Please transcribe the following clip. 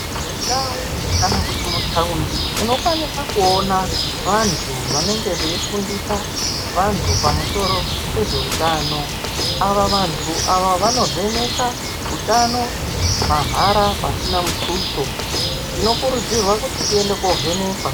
Mundau kana kuti mutaundi munokwanisa kuona vantu vanenge veifundisa vantu pamusoro pezvehutano. Ava vantu ava vanovheneka utano mahara pasina mutuso tinokurudzirwa kuti tiende kovhenekwa.